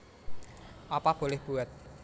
Apa Boleh Buat